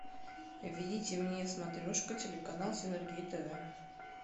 введите мне смотрешка телеканал синергия тв